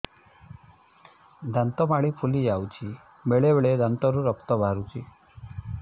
ଦାନ୍ତ ମାଢ଼ି ଫୁଲି ଯାଉଛି ବେଳେବେଳେ ଦାନ୍ତରୁ ରକ୍ତ ବାହାରୁଛି